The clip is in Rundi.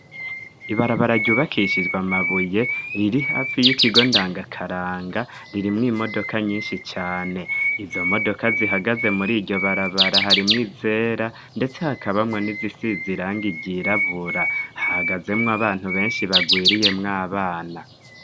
Ibarabara ryubakishijwa mabuye riri afi y'ikigo ndangakaranga riri mw imodoka nyinshi cane izo modoka zihagaze muri iryo barabara hari mw izera ndetse hakabamwe n'izisi ziranga igirabura hagazemwo abantu benshi bagwiriye mw'abana.